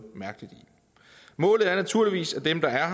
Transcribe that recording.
mærkeligt i målet er naturligvis at dem der er